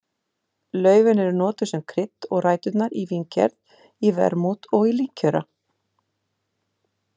Laufin eru notuð sem krydd og ræturnar í víngerð í vermút og í líkjöra.